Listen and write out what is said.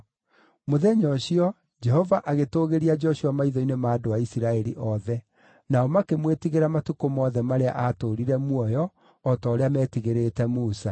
Mũthenya ũcio, Jehova agĩtũũgĩria Joshua maitho-inĩ ma andũ a Isiraeli othe; nao makĩmwĩtigĩra matukũ mothe marĩa aatũũrire muoyo, o ta ũrĩa meetigĩrĩte Musa.